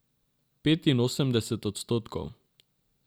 Petinosemdeset odstotkov.